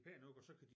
Pæn ud og så kan de